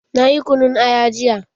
Nayi kunun aya jiya.